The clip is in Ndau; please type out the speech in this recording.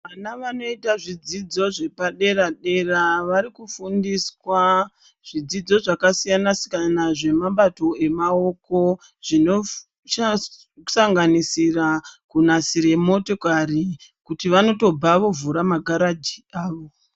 Vana vanoita zvidzidzo zvepadera dera vari kufundiswa zvidzidzo zvakasiyana siyana zvemabato emaoko zvinosanganisira kunasira motokari kuti vanotobva vavhura magaraji awo.